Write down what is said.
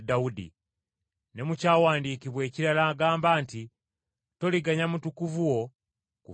Ne mu kyawandiikibwa ekirala agamba nti, “ ‘Toliganya Mutukuvu wo kuvunda.’